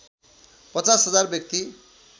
५० हजार व्यक्ति